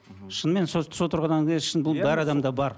мхм шынымен сол тұрғыдан шын әр адамда бар